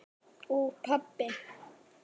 Og pabbi!